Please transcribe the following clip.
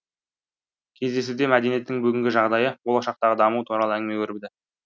кездесуде мәдениеттің бүгінгі жағдайы болашақтағы дамуы туралы әңгіме өрбіді